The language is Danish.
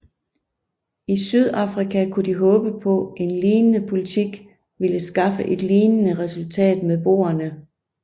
I Sydafrika kunne de håbe på at en lignende politik ville skaffe et lignende resultat med boerne